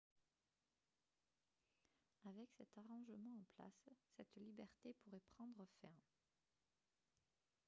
avec cet arrangement en place cette liberté pourrait prendre fin